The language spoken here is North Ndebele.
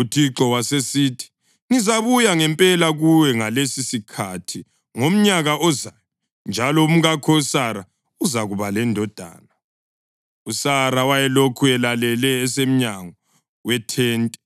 UThixo wasesithi, “Ngizabuya ngempela kuwe ngalesisikhathi ngomnyaka ozayo, njalo umkakho uSara uzakuba lendodana.” USara wayelokhu elalele esemnyango wethente